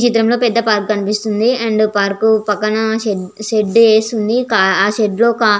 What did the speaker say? ఈ చిత్రం లో పెద్ద పార్క్ కనిపిస్త్గు వుంది అ పార్క్ పక్కన పెద్ద షెడ్ వేసి వుంది ఆషెడ్ లో కార్ --